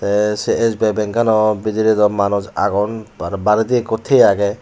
tey sei es bi ai bakaanw bidrey dw manus agon aro baredi ikko thiye agey.